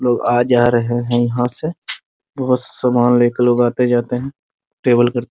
लोग आ जा रहे हैं यहाँ से बहुत सामान लेकर लोग आते-जाते हैं टेबल कर --